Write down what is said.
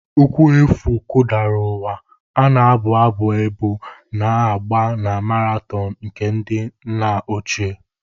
Ụkwụ efu kụdara ụwa, a na-abụ abụ ebo na-agba na maraton nke ndị nna ochie.